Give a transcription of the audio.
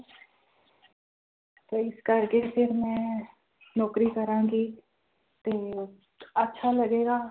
ਤਾਂ ਇਸ ਕਰਕੇ ਫਿਰ ਮੈਂ ਨੌਕਰੀ ਕਰਾਂਗੀ ਤੇ ਅੱਛਾ ਲੱਗੇਗਾ।